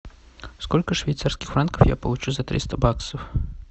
сколько швейцарских франков я получу за триста баксов